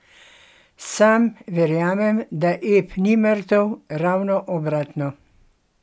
Sam verjamem, da ep ni mrtev, ravno obratno.